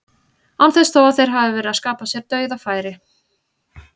Án þess þó að þeir hafi verið að skapa sér dauðafæri.